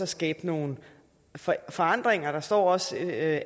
skabe nogle forandringer der står også at